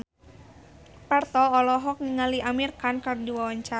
Parto olohok ningali Amir Khan keur diwawancara